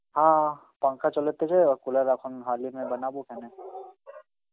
হা পাংখা চলেতেছে, cooler এখন Hindi বানাবো এখানে.